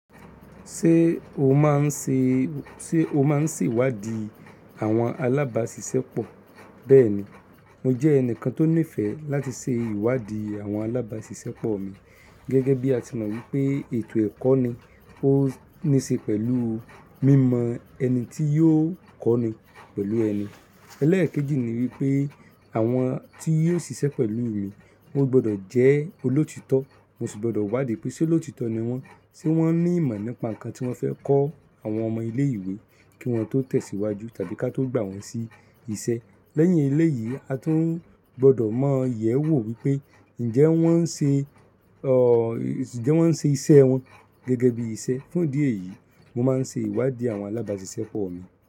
Ṣé o máa ń ṣe, ṣe o máa ń ṣèwádìí àwọn alábàásisẹ́ pọ̀? Bẹ́ẹ̀ni, mo jẹ́ ẹnìkan tó nífẹ̀ẹ́ láti ṣe ìwádìí àwọn alábàásisẹ́ pọ̀ mi. Gẹ́gẹ́ bí a ti mọ wípé ètò ẹ̀kọ́ ni ó níí ṣe pẹ̀lú mímọ ẹni tí yóò kọ́ni pẹ̀lú ẹni. Ẹlẹ́ẹ̀kejì ni wípé àwọn tí yóò ṣiṣẹ́ pẹ̀lú mi, wọ́n gbọdọ̀ jẹ́ olóòtítọ́, mo sì gbọdọ̀ wádìí pé ṣe olóòtítọ́ ni wọ́n, ṣe wọ́n ní ìmọ̀ nípa nǹkan tí wọ́n fẹ́ kọ́ àwọn ọmọ ilé ìwé kí wọ́n tó tẹ̀síwájú tàbí ká tó gbà wọ́n sí isẹ́. Lẹ́yìn eléyì, a tún gbọdọ̀ mọ yẹ̀wo wípé ǹjẹ́ wọ́n ń ṣe, ọ̀ ǹjẹ́ wọ́n ń ṣe isẹ́ wọn gẹ́gẹ́ bí iṣẹ́. Fún ìdí èyí, mo máa ń ṣe ìwádìí àwọn alábàásisẹ́ pọ̀ mi.